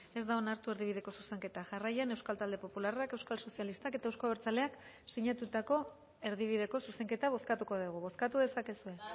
ez da onartu erdibideko zuzenketa jarraian euskal talde popularrak euskal sozialistak eta euzko abertzaleak sinatutako erdibideko zuzenketa bozkatuko dugu bozkatu dezakezue